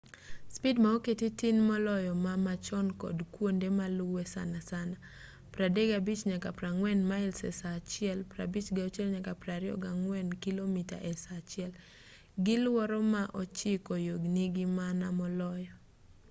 spid ma oketi tin moloyo ma machon kod kuonde maluwe- sanasana 35-40 mails e saa achiel 56-64 kilomita e saa achiel gi luoro ma ochiko yo nigi maana moloyo